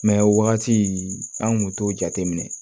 Mɛ o wagati an kun t'o jateminɛ